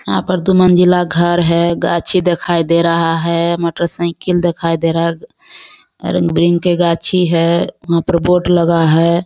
यहाँ पर दु मंजिला घर है। गाछी दिखाई दे रहा है। मोटरसाइकिल दिखाई दे रहा है। ब्रिन के गाछी है वहाँ पे बोर्ड लगा है।